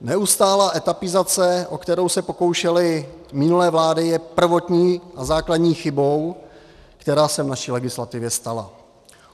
Neustálá etapizace, o kterou se pokoušely minulé vlády, je prvotní a základní chybou, která se v naší legislativě stala.